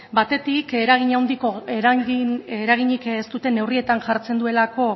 batetik eraginik ez duten neurrietan jartzen duela